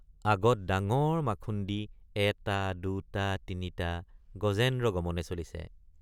আগত ডাঙৰ মাখুন্দি এটাদুটাতিনিটা গজেন্দ্ৰ গমনে চলিছে।